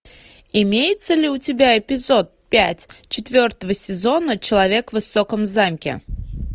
имеется ли у тебя эпизод пять четвертого сезона человек в высоком замке